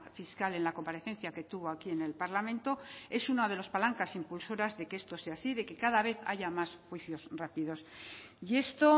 fiscal en la comparecencia que tuvo aquí en el parlamento es una de las palancas impulsoras de que esto sea así de que cada vez haya más juicios rápidos y esto